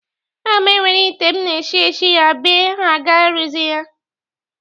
Aga m ewere ite m na-eshị eshị ya ebe aga-arụzi ya